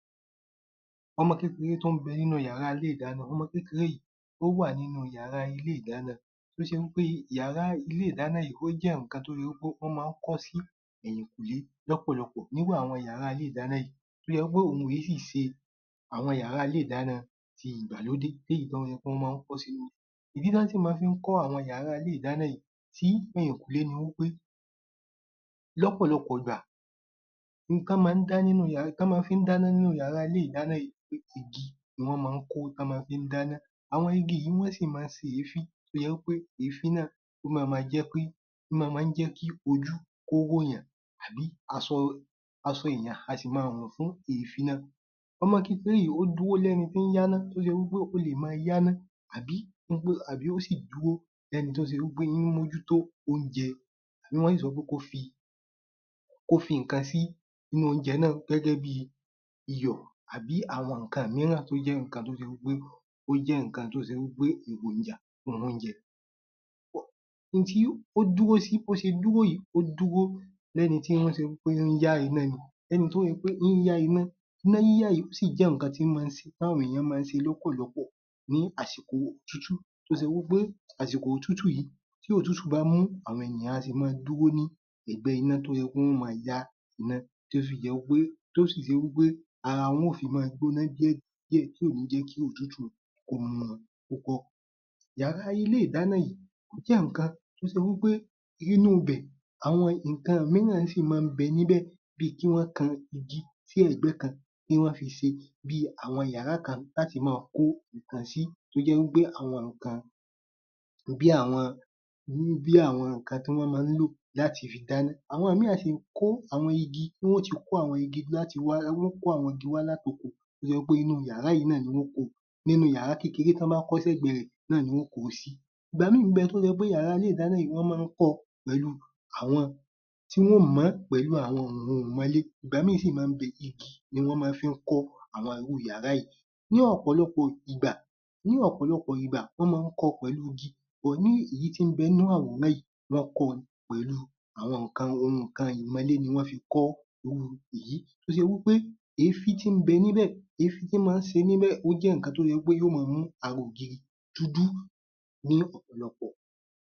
Ọmọ kékeré tó ń bẹ nínú yàrá ilé ìdáná Ọmọ kékeŕe yìí ó wà nínú yàrá ilé ìdáná tó ṣe wí pé yàrá ilé ìdáná yìí o jẹ́ nǹkan tó ṣe wí pé wọ́n má ń kó sí ẹ̀yìnkùnlé l’ọ́pọ̀lọpọ̀. N’írú àwọn yàrá ilé ìdáná tó ṣe wí pé ohun kìí ṣe àwọn yàrá ilé ìdáná ìgbàlódé, l’éyìí tó ṣe wí pé wọ́n má ń kọ́ s’ínú. Ìdí tí wọ́n sì máá fi ń kọ́ àwọn yàrá ilé ìdáná yìí sí ẹ̀yìnkùlé ni wí pé l’ọ́pọ̀lọpọ̀ ìgbà, n tán mọ ń dá n tán mọ fi ń d’áná nínú yàrá ilé ìdáná yìí jẹ́ iná igi, iná igi ni wọ́n mọ ń kó, ni wọ́n mọ fi ń d’áná. Àwọn igi yìí wọ́n sì mọ́ ń se èéfín, tó jẹ́ wí pé èéfín náà ó máa ma jẹ́ kí ó máa ma ń jẹ́ kí ojú kó r’òyàn àbí aṣọ èèyàn á sì máa rùn fún èéfín náà. Ọmọ kékeré yìí ó dúró l’ẹ́ni tí ń y’áná, tó ṣe wí pé ó lè máa y’áná àbí wípé ó sì dúró l’ẹ́ni tó ṣe wí pé ó ń mójútó àbí wọ́n sì sọ wí pé kó fi ǹkan sí inú óúnjẹ náà gẹ́gẹ́ bí iyọ̀ àbí àwọn nǹkan mííràn tó jẹ́ nǹkan tó ṣe wí pé… ó jẹ́ nǹkan tó ṣe wí pé èròjà óúnjẹ. N tí ó dúró sí bó ṣe dúró yìí, ó dúró gẹ́gẹ́ bi ẹni tí ń yá iná. Iná yíyá yìí ó sì jé nǹkan tí mó ń ṣe… t’áwọn ènìyàn mọ́ ń ṣe l’ọ́pọ̀lọpọ̀ ní àsìkò òtútù, tó ṣe wí pé àsìkò òtútù yìí tí òtútù bá mú, àwọn ènìyàn a sì máa dúró ní ẹ̀gbẹ́ iná tó ṣe wí pe wọ́n ó máa yá iná tí ó fi jẹ́ pé… tó sì ṣe wí pé ara wọn ó fi máa gbóná díẹ̀ díẹ̀ tí ò ní jẹ́ kí òtútù kó mú wọn púpọ̀. Yàrá ilé ìdáná yìí ó jẹ́ nǹkan tó ṣe wí pé inú ibẹ̀ àwón nǹkan míì náà sì má ń bẹ níbẹ̀, bí i kí wọ́n kan igi sí ẹ̀gbẹ́ kan kí wọ́n fi ṣé bí àwọn yàrá kan, ki wọ́n fi máa kó nǹkan sí to ́jẹ́ wípé àwọn ǹkan… bí àwọn nǹkan tí wọ́n má ń lò láti fi d’áná. Àwọn míì a sì kó àwọn igi, tí wọ́n ó ti kó àwón igi, tí wọ́n ó kó àwón igi wá lát’oko, tó jẹ́ pé inú yàrá yíì náà ni wọ́n ó ko… nínú yàrá kékeré tí wọ́n bá kọ́ s’ẹ̀gbẹ́ rẹ̀ ni wọ́n ó kó o sí. Ìgbà míì ń bẹ tó ṣe pé àwọn yàrá ilé ìdáná yìí wọ́n mọ́ ń kó ọ pẹ̀lú àwọn tí wọ́n ó mọ ọ́n pẹ̀lú àwọn òǹmonlé.. Ìgbà míì sì ń bẹ igi ni wọ́n mọ́ fi ń kọ́ àwọn yàrá yìí. Ní ọ̀pọ̀lọpọ̀ ìgbà… ní ọ̀pọ̀lọpọ̀ ìgbà, wọ́n mọ́ ń kọ́ ọ pẹ̀lú igi, (but) nínú èyí tí ń bẹ nínú àwòrán yìí, wọ́n kọ́ ọ pẹ̀lú àwọn ohun ǹkan ìmọnlé ni wọ́n fi kọ́ irú ìyí, tó ṣe wípé èéfín tí ń bẹ n’íbẹ̀… èéfín tí maá se níbẹ̀ ó jẹ́ ǹkan tó jẹ́ wípé yóó máa mú ara ògiri dúdú ní ọ̀pọ̀lọpọ̀.